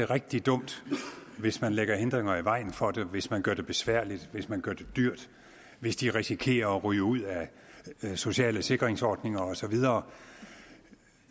rigtig dumt hvis man lægger hindringer i vejen for det hvis man gør det besværligt hvis man gør det dyrt hvis de risikerer at ryge ud af sociale sikringsordninger og så videre